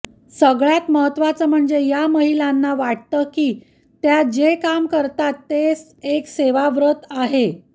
सगळ्यात महत्त्वाचं म्हणजे या महिलांना वाटतं की त्या जे काम करतायत ते एक सेवाव्रत आहे